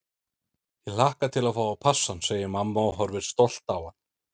Ég hlakka til að fá að passa hann, segir mamma og horfir stolt á hann.